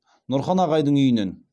нұрхан ағайдың үйінен